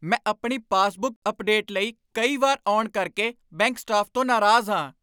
ਮੈਂ ਆਪਣੀ passbook update ਲਈ ਕਈ ਵਾਰ ਆਉਣ ਕਰਕੇ ਬੈਂਕ ਸਟਾਫ਼ ਤੋਂ ਨਾਰਾਜ਼ ਹਾਂ।